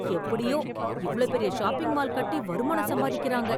எப்படியோ இவ்ளோ பெரிய ஷாப்பிங் மால் கட்டி வருமானம் சம்பாதிக்கிறாங்க!